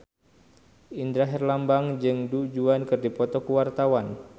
Indra Herlambang jeung Du Juan keur dipoto ku wartawan